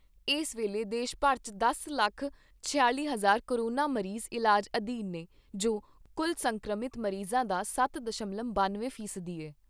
ਇਸ ਵੇਲੇ ਦੇਸ਼ ਭਰ 'ਚ ਦਸ ਲੱਖ ਛਿਆਲ਼ੀ ਹਜ਼ਾਰ ਕੋਰੋਨਾ ਮਰੀਜ਼ ਇਲਾਜ ਅਧੀਨ ਨੇ ਜੋ ਕੁੱਲ ਸੰਕਰਮਿਤ ਮਰੀਜ਼ਾਂ ਦਾ ਸੱਤ ਦਸ਼ਮਲਵ ਬਾਨਵੇਂ ਫ਼ੀਸਦੀ ਐ।